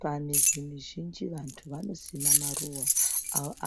Pamizi mizhinji vantu vanosima maruva